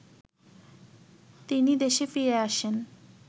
তিনি দেশে ফিরে আসেন